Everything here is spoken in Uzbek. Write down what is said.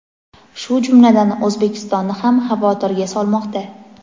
shu jumladan O‘zbekistonni ham xavotirga solmoqda.